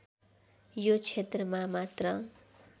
यो क्षेत्रमा मात्र